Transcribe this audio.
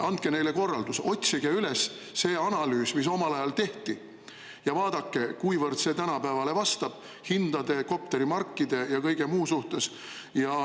Andke neile korraldus, et nad otsiksid üles selle analüüsi, mis omal ajal tehti, ja vaadake, kuivõrd see tänapäevale vastab hindade, kopterimarkide ja kõige muu poolest.